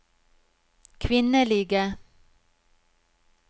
kvinnelige